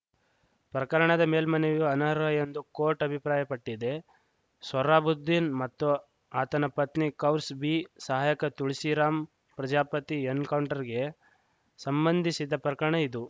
ಪ್ರಕರಣದ ಮೇಲ್ಮನವಿಯು ಅನರ್ಹ ಎಂದು ಕೋರ್ಟ್‌ ಅಭಿಪ್ರಾಯ ಪಟ್ಟಿದೆ ಸೊಹ್ರಾಬುದ್ದೀನ್‌ ಮತ್ತು ಆತನ ಪತ್ನಿ ಕೌರ್ಸ್ ಬೀ ಸಹಾಯಕ ತುಳಸಿರಾಮ್‌ ಪ್ರಜಾಪತಿ ಎನ್‌ಕೌಂಟರ್‌ಗೆ ಸಂಬಂಧಿಸಿದ ಪ್ರಕರಣ ಇದು